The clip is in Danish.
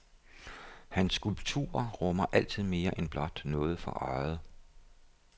Hans skulpturer rummer altid mere end blot noget for øjet.